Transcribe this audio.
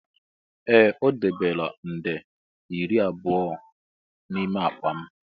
Ee! O debela nde iri abụọ n'ime akpa m.